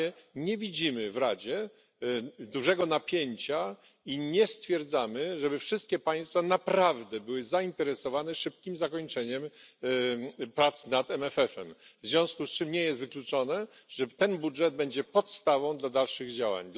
Na razie nie widzimy w Radzie dużego napięcia i nie stwierdzamy, żeby wszystkie państwa naprawdę były zainteresowane szybkim zakończeniem prac na MFF em. W związku z czym nie jest wykluczone, że ten budżet będzie podstawą do dalszych działań.